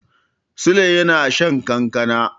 Sule yana shan kankana.